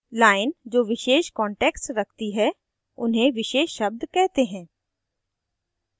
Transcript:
lines जो विशेष context रखती हैं उन्हें विशेष शब्द कहते हैं